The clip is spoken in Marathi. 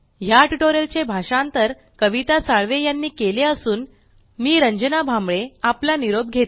या टयूटोरियल चे भाषांतर कविता साळवे यांनी केलेले असून मी रंजना भांबळे आपला निरोप घेते